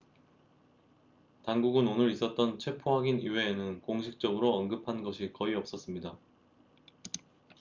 당국은 오늘 있었던 체포 확인 이외에는 공식적으로 언급한 것이 거의 없었습니다